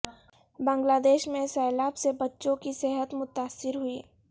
بنگلہ دیش میں سیلاب سے بچوں کی صحت متاثر ہوئی